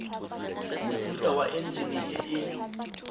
mofuta wa enjine e e